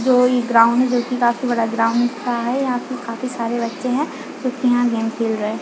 जो ये ग्राउंड जो की काफी बड़ा ग्राउंड दिख रहा है यहाँ पे काफी सारे बच्चें है जो की यहाँ गेम खेल रहा है।